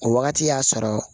O wagati y'a sɔrɔ